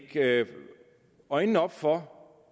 øjnene op for